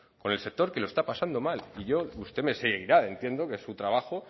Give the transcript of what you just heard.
con el sector que lo está pasando mal y yo usted me seguirá entiendo que es un trabajo